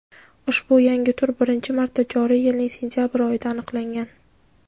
ushbu yangi tur birinchi marta joriy yilning sentyabr oyida aniqlangan.